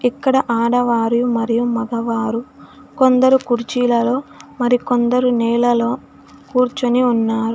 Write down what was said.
ఇక్కడ ఆడవారియు మరియు మగవారు కొందరు కూర్చిలలో మరి కొందరు నేలలో కూర్చొని ఉన్నారు.